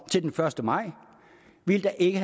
til den første maj ville der ikke